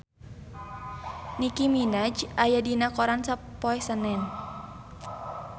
Nicky Minaj aya dina koran poe Senen